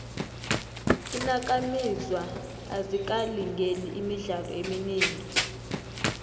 iinakamizwa azikalingeli imidlalo eminingi